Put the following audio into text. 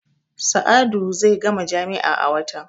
Sa'adu zai gama jami'a a watan.